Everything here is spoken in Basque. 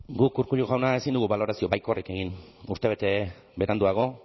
guk urkullu jauna ezin dugu balorazio baikorrik egin urtebete beranduago